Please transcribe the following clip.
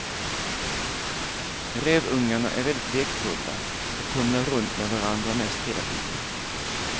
Rävungarna är väldigt lekfulla och tumlar runt med varandra mest hela tiden.